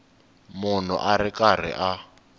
munhu a ri karhi a